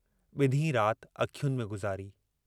बिन्हीं रात अखियुनि में गुज़ारी।